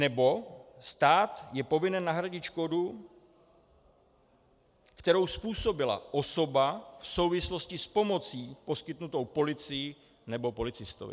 Nebo - stát je povinen nahradit škodu, kterou způsobila osoba v souvislosti s pomocí poskytnutou policii nebo policistovi.